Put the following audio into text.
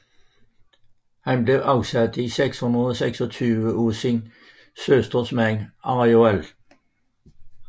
Han blev afsat i 626 af sin søsters mand Arioald